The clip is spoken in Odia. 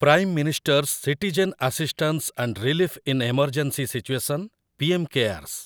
Prime minister's citizen assistance and relief in emergency situation, PM CARES